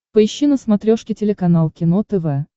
поищи на смотрешке телеканал кино тв